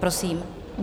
Prosím.